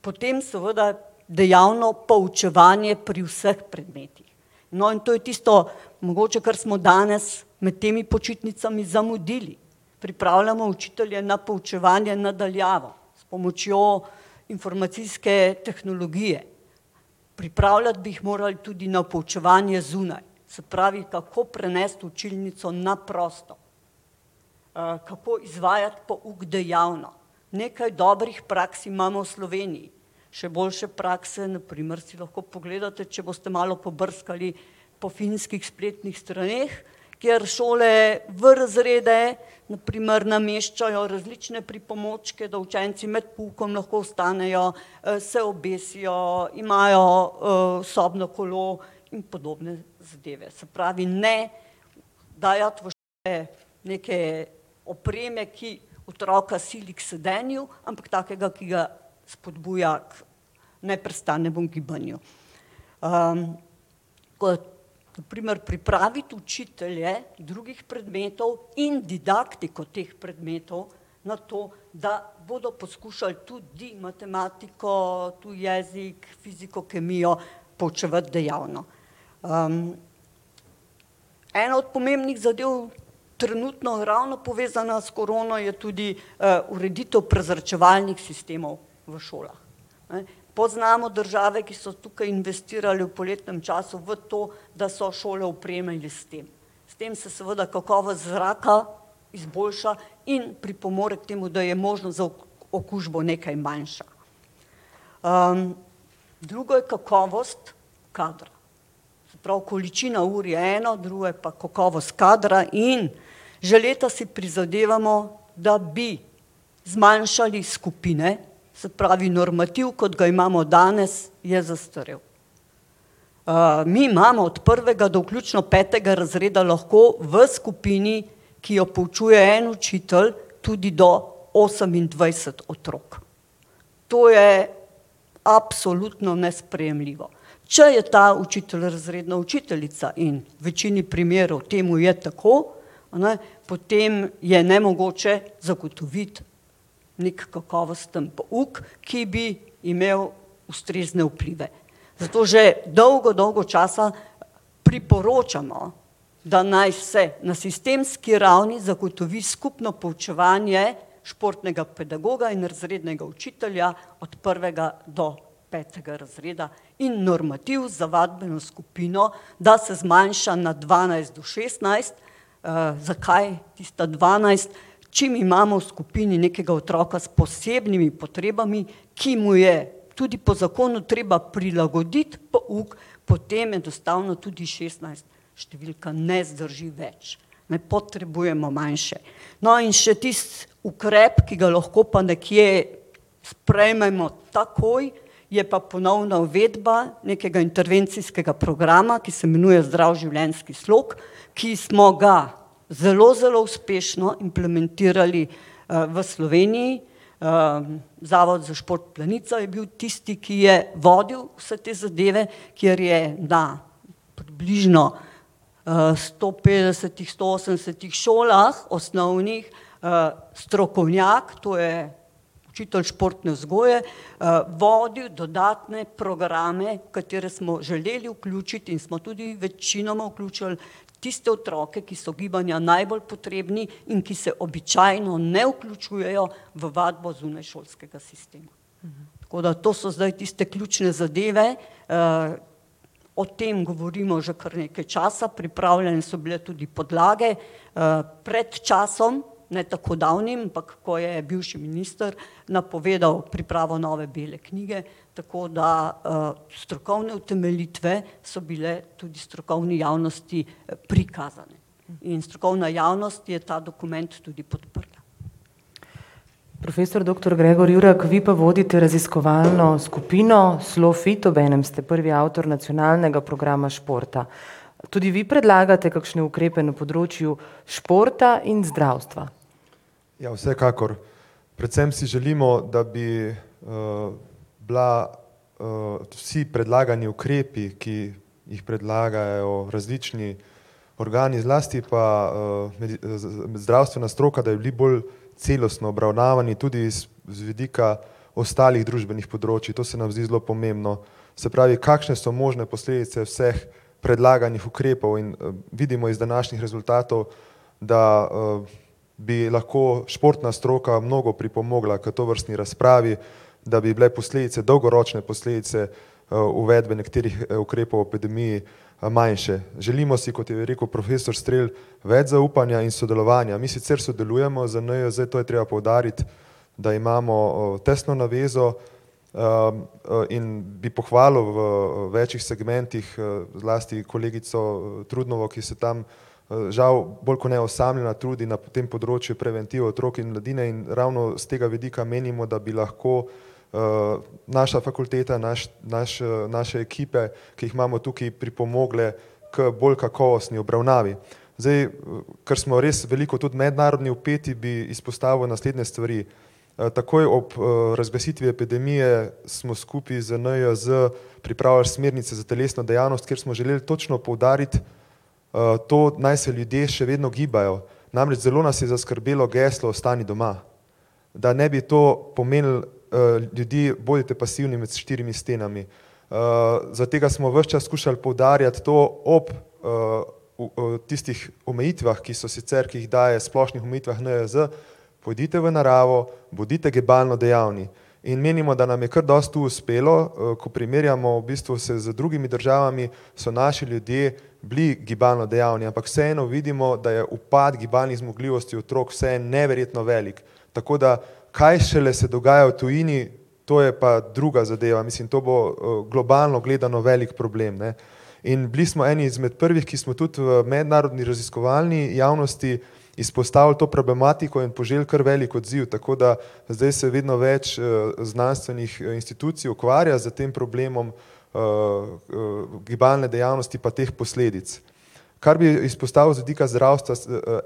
potem seveda dejavno poučevanje pri vseh predmetih. No, in to je tisto, mogoče kar smo danes med temi počitnicami zamudili. Pripravljamo učitelje na poučevanje na daljavo s pomočjo informacijske tehnologije. Pripravljati bi jih morali tudi na poučevanje zunaj, se pravi, kako prenesti učilnico na prosto, kako izvajati pouk dejavno. Nekaj dobrih praks imamo v Sloveniji, še boljše prakse na primer si lahko pogledate, če boste malo pobrskali po finskih spletnih straneh, kjer šole v razrede, na primer nameščajo različne pripomočke, da učenci med poukom lahko vstanejo, se obesijo, imajo sobno kolo in podobne zadeve, se pravi, ne dajati v šole neke opreme, ki otroka sili k sedenju, ampak takega, ki ga spodbuja k neprestanemu gibanju. na primer pripraviti učitelje drugih predmetov in didaktiko teh predmetov na to, da bodo poskušali tudi matematiko, tuji jezik, fiziko, kemijo poučevati dejavno. ena od pomembnih zadev, trenutno ravno povezana s korono je tudi ureditev prezračevalnih sistemov v šolah, ne. Poznamo države, ki so tukaj investirale v poletnem času v to, da so šole opremili s tem. S tem se seveda kakovost zraka izboljša in pripomore k temu, da je možnost za okužbo nekaj manjša. drugo je kakovost kadra. Se pravi količina ur je eno, drugo je pa kakovost kadra in že letos si prizadevamo, da bi zmanjšali skupine, se pravi normativ, kot ga imamo danes, je zastarel. mi imamo od prvega do vključno petega razreda lahko v skupini, ki jo poučuje en učitelj, tudi do osemindvajset otrok. To je absolutno nesprejemljivo. Če je ta učitelj razredna učiteljica in v večini primerov temu je tako, a ne, potem je nemogoče zagotoviti neki kakovosten pouk, ki bi imel ustrezne vplive. Zato že dolgo, dolgo časa priporočamo, da naj se na sistemski ravni zagotovi skupno poučevanje športnega pedagoga in razrednega učitelja od prvega do petega razreda in normativ za vadbeno skupino, da se zmanjša na dvanajst do šestnajst, zakaj tista dvanajst? Čim imamo v skupini nekega otroka s posebnimi potrebami, ki mu je tudi po zakonu treba prilagoditi pouk, potem enostavno tudi šestnajst številka ne zdrži več, ne, potrebujemo manjše. No, in še tisti ukrep, ki ga lahko pa nekje sprejmemo takoj, je pa ponovna uvedba nekega intervencijskega programa, ki se imenuje zdrav življenjski slog, ki smo ga zelo, zelo uspešno implementirali v Sloveniji. Zavod za šport Planica je bil tisti, ki je vodil vse te zadeve, kjer je na približno sto petdesetih, sto osemdesetih šolah, osnovnih, strokovnjak, to je učitelj športne vzgoje vodil dodatne programe, katere smo želeli vključiti in smo tudi večinoma vključili tiste otroke, ki so gibanja najbolj potrebni in ki se običajno ne vključujejo v vadbo zunaj šolskega sistema. Tako da to so zdaj tiste ključne zadeve, o tem govorimo že kar nekaj časa, pripravljene so bile tudi podlage pred časom, ne tako davnim, ampak ko je bivši minister napovedal pripravo nove bele knjige, tako da strokovne utemeljitve so bile tudi strokovni javnosti prikazane. In strokovna javnost je ta dokument tudi podprla. Profesor doktor [ime in priimek] , vi pa vodite raziskovalno skupino SLOfit, obenem ste prvi avtor nacionalnega programa športa. Tudi vi predlagate kakšne ukrepe na področju športa in zdravstva? Ja, vsekakor. Predvsem si želimo, da bi bila vsi predlagani ukrepi, ki jih predlagajo v različni organi, zlasti pa zdravstvena stroka, da bi bili bolj celostno obravnavani, tudi iz vidika ostalih družbenih področij, to se nam zdi zelo pomembno. Se pravi, kakšne so možne posledice vseh predlaganih ukrepov in vidimo iz današnjih rezultatov, da bi lahko športna stroka mnogo pripomogla k tovrstni razpravi, da bi bile posledice dolgoročne, posledice uvedbe nekaterih ukrepov v epidemiji manjše. Želimo si, kot je rekel profesor Strel, več zaupanja in sodelovanja. Mi sicer sodelujemo z NIJZ, to je treba poudariti, da imamo tesno navezo, in bi pohvalil v več segmentih zlasti kolegico Trudnovo, ki se tam žal bolj kot ne osamljena trudi na tem področju preventive otrok in mladine in ravno s tega vidika menimo, da bi lahko naša fakulteta, naš, naš, naše ekipe, ki jih imamo tukaj, pripomogle k bolj kakovostni obravnavi. Zdaj, ker smo res veliko tudi mednarodni vpeti, bi izpostavil naslednje stvari. takoj ob razglasitvi epidemije smo skupaj z NIJZ pripravili smernice za telesno dejavnost, kjer smo želel točno poudariti to, naj se ljudje še vedno gibajo. Namreč zelo nas je zaskrbelo geslo 'ostani doma'. Da ne bi to pomenilo: ljudje, bodite pasivni med štirimi stenami. za tega smo vas čas skušali poudarjati to ob tistih omejitvah, ki so sicer, ki jih daje v splošnih omejitvah NIJZ, pojdite v naravo, bodite gibalno dejavni. In menimo, da nam je kar dosti tu uspelo ko primerjamo v bistvu se z drugimi državami, so naši ljudje bili gibalno dejavni, ampak vseeno vidimo, da je upad gibalnih zmogljivosti otrok vseeno neverjetno velik. Tako da, kaj šele se dogaja v tujini, to je pa druga zadeva, mislim, to bo globalno gledano velik problem, ne. In bili smo eni izmed prvih, ki smo tudi v mednarodni raziskovalni javnosti izpostavili to problematiko in poželi kar velik odziv, tako da zdaj se vedno več znanstvenih institucij ukvarja s tem problemom gibalne dejavnosti pa teh posledic. Kar bi izpostavil z vidika zdravstva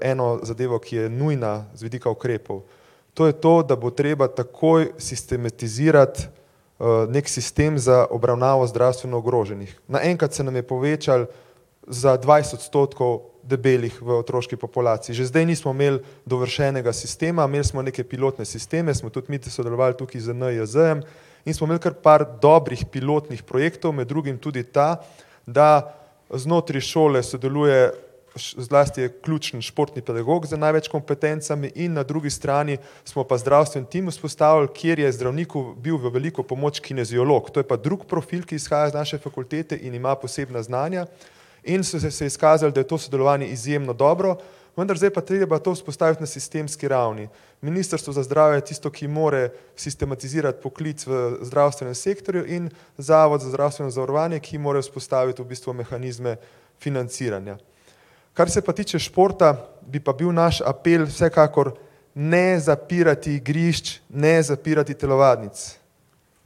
eno zadevo, ki je nujna z vidika ukrepov. To je to, da bo treba takoj sistematizirati neki sistem za obravnavo zdravstveno ogroženih. Naenkrat se nam je povečal za dvajset odstotkov debelih v otroški populaciji. Že zdaj nismo imeli dovršenega sistema, imeli smo neke pilotne sisteme, smo tudi mi sodelovali tukaj z NIJZ-jem in smo imeli kar par dobrih pilotnih projektov, med drugim tudi ta, da znotraj šole sodeluje, zlasti je ključni športni pedagog z največ kompetencami in na drugi strani smo pa zdravstveni tim vzpostavili, kjer je zdravniku bil v veliko pomoč kineziolog. To je pa drug profil, ki izhaja iz naše fakultete in ima posebna znanja in so se izkazali, da je to sodelovanje izjemno dobro. Vendar zdaj je pa treba to vzpostaviti na sistemski ravni. Ministrstvo za zdravje je tisto, ki mora sistematizirati poklic v zdravstvenem sektorju in Zavod za zdravstveno zavarovanje, ki mora vzpostaviti v bistvu mehanizme financiranja. Kar se pa tiče športa, bi pa bil naš apel vsekakor: Ne zapirati igrišč, ne zapirati telovadnic.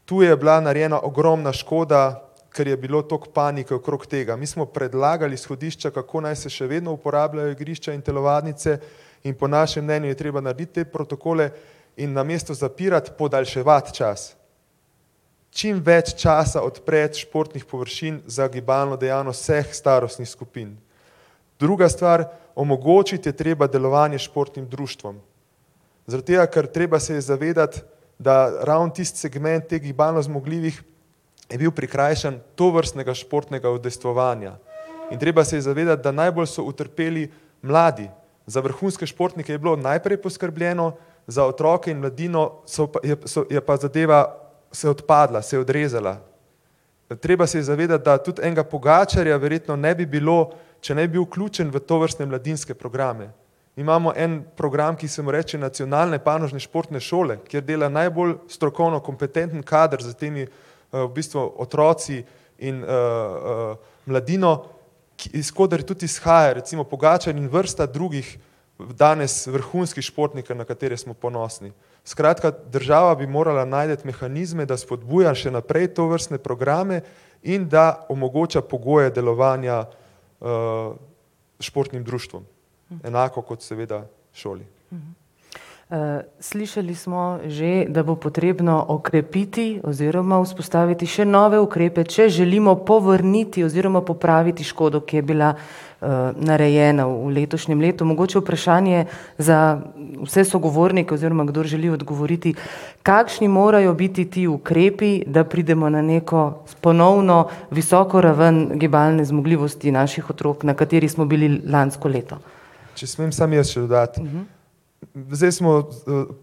Tu je bila narejena ogromna škoda, ker je bilo toliko panike okrog tega. Mi smo predlagali izhodišča, kako naj se še vedno uporabljajo igrišča in telovadnice in po našem mnenju je treba narediti te protokole in namesto zapirati podaljševati čas. Čim več časa odpreti športnih površin za gibalno dejavnost vseh starostnih skupin. Druga stvar, omogočiti je treba delovanje športnim društvom. Zaradi tega, ker treba se je zavedati, da ravno tisti segment teh gibalno zmogljivih je bil prikrajšan tovrstnega športnega udejstvovanja. In treba se je zavedati, da najbolj so utrpeli mladi. Za vrhunske športnike je bilo najprej poskrbljeno, za otroke in mladino so pa, je so, je pa zadeva se odpadla, se odrezala. Treba se je zavedati, da tudi enega Pogačarja verjetno ne bi bilo, če ne bi bil vključen v tovrstne mladinske programe. Imamo en program, ki se mu reče Nacionalne panožne športne šole, kjer dela najbolj strokovno kompetenten kader za temi v bistvu otroci in mladino, ki, iz koder tudi izhaja recimo Pogačar in vrsta drugih danes vrhunskih športnikov, na katere smo ponosni. Skratka, država bi morala najti mehanizme, da spodbuja še naprej tovrstne programe in da omogoča pogoje delovanja športnim društvom enako kot seveda šoli. slišali smo že, da bo potrebno okrepiti oziroma vzpostaviti še nove ukrepe, če želimo povrniti, oziroma popraviti škodo, ki je bila narejena v letošnjem letu. Mogoče vprašanje za vse sogovornike, oziroma kdor želi odgovoriti. Kakšni morajo biti ti ukrepi, da pridemo na neko ponovno visoko ravno gibalne zmogljivosti naših otrok, na kateri smo bili lansko leto? Če smem samo jaz še dodati. Zdaj smo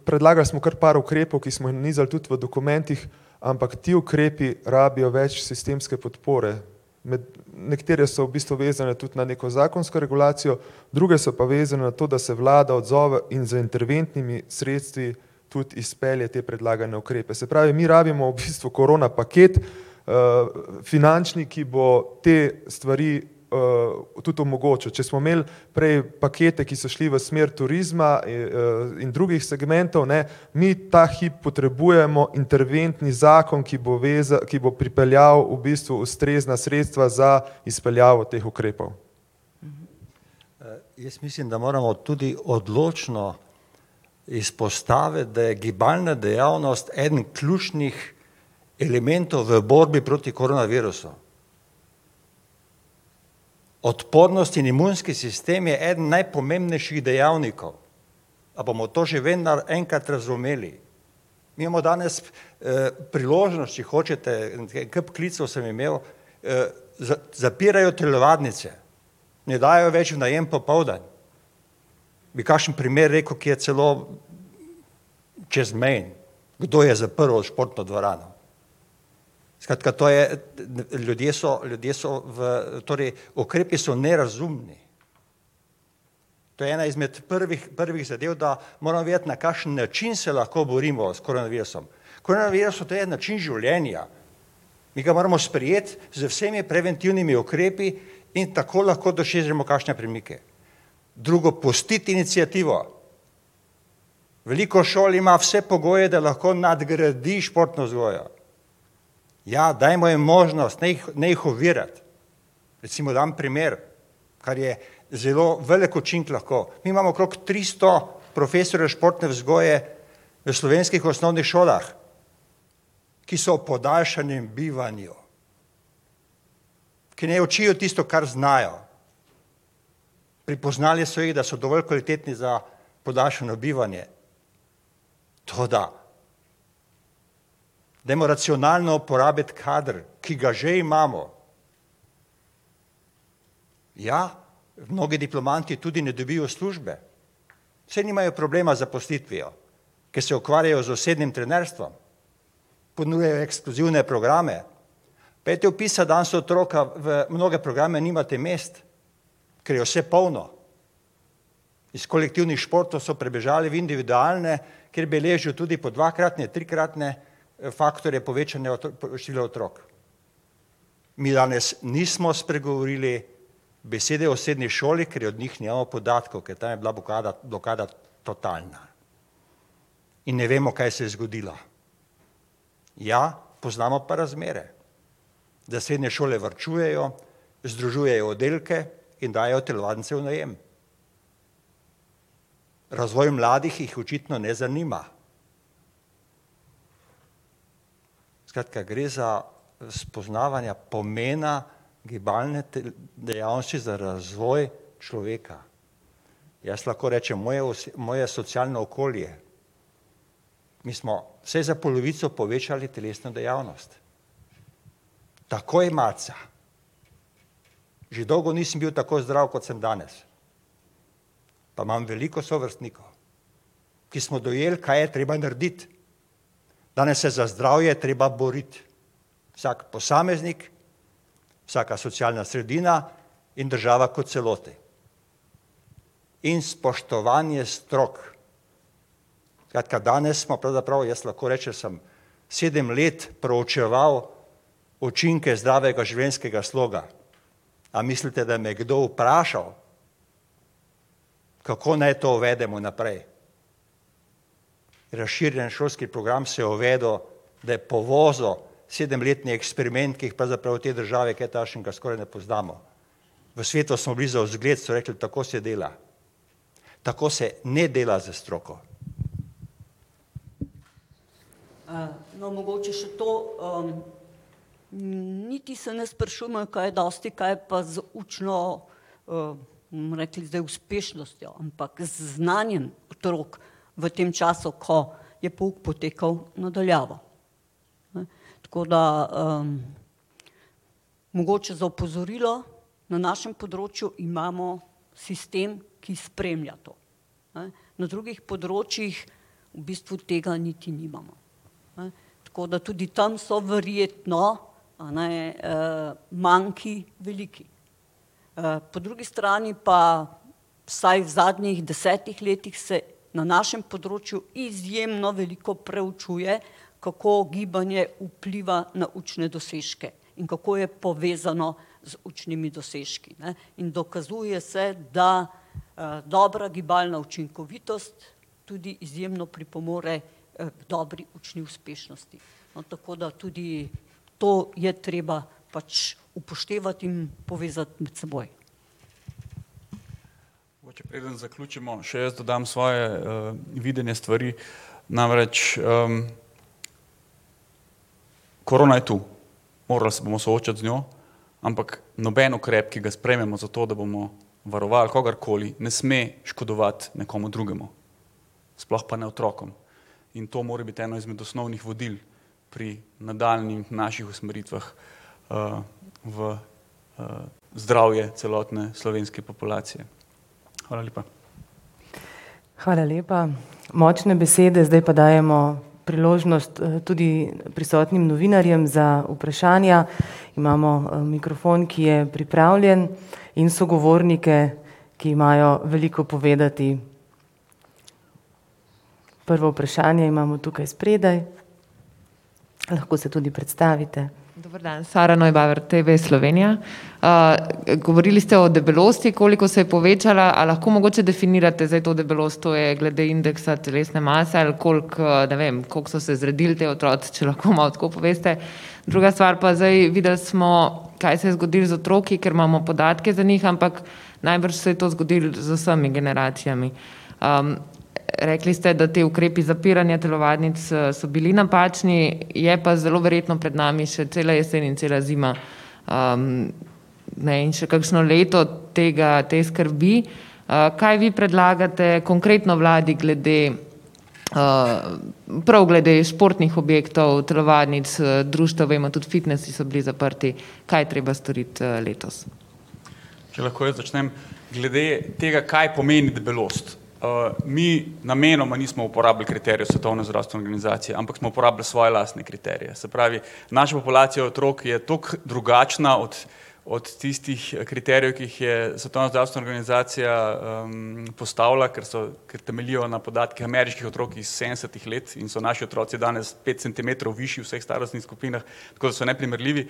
predlagali smo kar par ukrepov, ki smo jih nanizali tudi v dokumentih, ampak ti ukrepi rabijo več sistemske podpore. Med nekatere so v bistvu vezane tudi na neko zakonsko regulacijo, druge so pa vezane na to, da se vlada odzove in z interventnimi sredstvi tudi izpelje te predlagane ukrepe, se pravi mi rabimo v bistvu korona paket, finančni, ki bo te stvari tudi omogočil. Če smo imeli prej pakete, ki so šli v smer turizma in drugih segmentov, ne, mi ta hip potrebujemo interventni zakon, ki bo ki bo pripeljal v bistvu ustrezna sredstva za izpeljavo teh ukrepov. Jaz mislim, da moramo tudi odločno izpostaviti, da je gibalna dejavnost eden ključnih elementov v borbi proti koronavirusu. Odpornost in imunski sistem je eden najpomembnejših dejavnikov. A bomo to že vendar enkrat razumeli? Mi imamo danes priložnost, če hočete, en kup klicev sem imel zapirajo telovadnice, ne dajo več v najem popoldan. Bi kakšen primer rekel, ki je celo čezmejen. Kdo je zaprl športno dvorano. Skratka to je, ljudje so, ljudje so torej ukrepi so nerazumni. To je ena izmed prvih, prvih zadev, da moramo vedeti, na kakšen način se lahko borimo s koronavirusom. Koronavirus, to je način življenja. Mi ga moramo sprejeti z vsemi preventivnimi ukrepi in tako lahko dosežemo kakšne premike. Drugo: pustiti iniciativo. Veliko šol ima vse pogoje, da nadgradi športno vzgojo. Ja, dajmo jim možnost, ne jih, ne jih ovirati. Recimo dam primer. Kar je zelo velik učinek lahko, mi imamo okrog tristo profesorjev športne vzgoje v slovenskih osnovnih šolah, ki so v podaljšanem bivanju. Ki ne učijo tisto, kar znajo. Prepoznali so jih, da so dovolj kvalitetni za podaljšano bivanje. Toda, dajmo racionalno uporabiti kader, ki ga že imamo. Ja? Mnogi diplomanti tudi ne dobijo službe. Saj nimajo problema z zaposlitvijo, ker se ukvarjajo z osebnim trenerstvom, ponujajo ekskluzivne programe. Pojdite vpisat danes otroka v mnoge programe, nimate mest, ker je vse polno. Iz kolektivnih športov so prebežali v individualne, kjer beležijo tudi po dvakratne, trikratne faktorje povečanja števila otrok. Mi danes nismo spregovorili besede o srednji šoli, ker od njih nimamo podatkov, ker ta je bila blokada, blokada totalna. In ne vemo, kaj se je zgodilo. Ja, poznamo pa razmere. Da srednje šole varčujejo, združujejo oddelke in dajejo telovadnice v najem. Razvoj mladih jih očitno ne zanima. Skratka, gre za spoznavanja pomena gibalne dejavnosti za razvoj človeka. Jaz lahko rečem, moje moje socialno okolje, mi smo vsaj za polovico povečali telesno dejavnost. Takoj marca. Že dolgo nisem bil tako zdrav, kot sem danes. Pa imam veliko sovrstnikov, ki smo dojeli, kaj je treba narediti. Danes se za zdravje treba boriti. Vsak posameznik, vsaka socialna sredina in država kot celoti. In spoštovanje strok. Skratka danes smo pravzaprav, jaz lahko rečem sem sedem let proučeval učinke zdravega življenjskega sloga. A mislite, da me je kdo vprašal, kako naj to uvedemo naprej? Razširjen šolski program se je uvedel, da je povozil sedemletni eksperiment, ki jih pravzaprav v tej državi kaj takega skoraj ne poznamo. V svetu smo bili za zgled, so rekli: "Tako se dela." Tako se ne dela z stroko. no, mogoče še to, niti se ne sprašujmo, kaj dosti, kaj je pa z učno bomo rekli zdaj uspešnostjo, ampak z znanjem otrok v tem času, ko je pouk potekal na daljavo, ne. Tako da mogoče za opozorilo - na našem področju imamo sistem, ki spremlja to, ne. Na drugih področjih v bistvu tega niti nimamo, ne. Tako da tudi tam so verjetno, eni, manki veliki. po drugi strani pa vsaj v zadnjih desetih letih se na našem področju izjemno veliko preučuje, kako gibanje vpliva na učne dosežke in kako je povezano z učnimi dosežki, ne, in dokazuje se, da dobra gibalna učinkovitost tudi izjemno pripomore k dobri učni uspešnosti. No, tako da tudi to je treba pač upoštevati in povezati med seboj. Preden zaključimo, še jaz dodam svoje videnje stvari, namreč korona je to. Morali se bomo soočiti z njo, ampak noben ukrep, ki ga sprejmemo, zato da bomo varovali kogarkoli, ne sme škodovati nekomu drugemu. Sploh pa ne otrokom. In to mora biti eno izmed osnovnih vodil pri nadaljnjih naših usmeritvah v zdravje celotne slovenske populacije. Hvala lepa. Hvala lepa. Močne besede, zdaj pa dajemo priložnost tudi prisotnim novinarjem za vprašanja. Imamo mikrofon, ki je pripravljen, in sogovornike, ki imajo veliko povedati. Prvo vprašanje imamo tukaj spredaj. Lahko se tudi predstavite. Dober dan, [ime in priimek] , TV Slovenija. govorili ste o debelosti, koliko se je povečala, a lahko mogoče definirate zdaj to debelost - to je glede indeksa telesne mase ali koliko, ne vem, koliko so se zredili ti otroci, če lahko malo tako poveste. Druga stvar pa zdaj, videli smo, kaj se je zgodilo z otroki, ker imamo podatke za njih, ampak najbrž se je to zgodilo z vsemi generacijami. rekli ste, da ti ukrepi zapiranja telovadnic so bili napačni, je pa zelo verjetno pred nami še cela jesen in cela zima. ne in še kakšno leto tega, te skrbi. kaj vi predlagate konkretno vladi glede prav glede športnih objektov, telovadnic, društev, vemo tudi fitnesi so bili zaprti. Kaj je treba storiti letos? Če lahko jaz začnem. Glede tega, kaj pomeni debelost. mi namenoma nismo uporabili kriterijev Svetovne zdravstvene organizacije, ampak smo uporabili svoje lastne kriterije, se pravi naša populacija otrok je toliko drugačna od od tistih kriterijev, ki jih je Svetovna znanstvena organizacija postavila, ker so, ker temeljijo na podatkih ameriških otrok iz sedemdesetih let in so naši otroci danes pet centimetrov višji v vseh starostnih skupinah, tako da so neprimerljivi.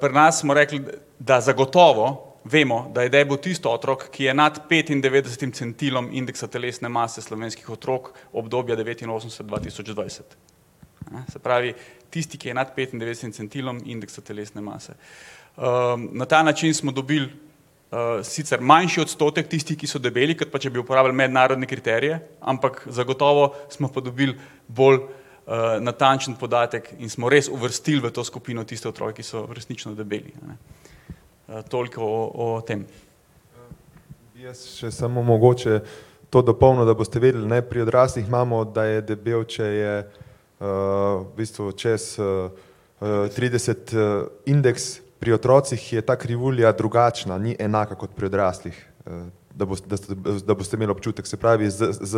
pri nas smo rekli, da zagotovo vemo, da je debel tisti otrok, ki je nad petindevetdesetim centilom indeksa telesne mase slovenskih otrok, obdobja devetinosemdeset-dva tisoč dvajset, ne, se pravi, tisti, ki je nad petindevetdesetim centilom indeksa telesne mase. na ta način smo dobili, sicer manjši odstotek tistih, ki so debeli, kot pa če bi uporabili mednarodne kriterije, ampak zagotovo smo pa dobili bolj natančen podatek in smo res uvrstili v to skupino tiste otroke, ki so resnično debeli, ne. toliko o tem. Jaz še samo mogoče to dopolnil, da boste vedeli, ne, pri odraslih imamo, da je debel, če je v bistvu čez trideset indeks, pri otrocih je ta krivulja drugačna, ni enaka kot pri odraslih. da da da boste imeli občutek, se pravi z, s